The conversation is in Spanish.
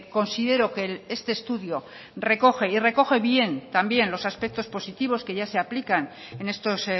considero que este estudio recoge y recoge bien también los aspectos positivos que ya se aplican en estos